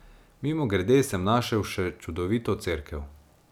Mimogrede sem našel še čudovito cerkev.